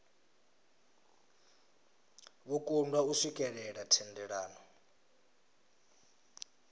vho kundwa u swikelela thendelano